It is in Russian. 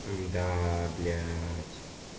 да блять